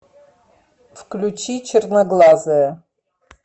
включи черноглазая